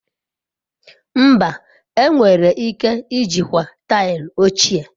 Mba, enwere ike ijikwa taịlị ochie.